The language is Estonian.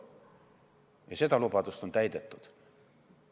Ja seda lubadust on täidetud.